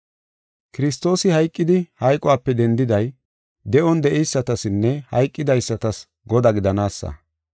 Kiristoosi hayqidi hayqope dendiday, de7on de7eysatasinne hayqidaysatas Godaa gidanaasa.